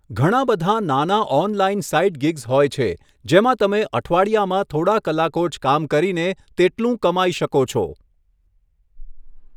ઘણાબધાં નાના online side gigs હોય છે જેમાં તમે અઠવાડિયામાં થોડા કલાકો જ કામ કરીને તેટલું કમાઈ શકો છો.